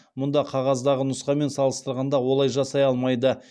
мұнда қағаздағы нұсқамен салыстырғанда олай жасай алмайды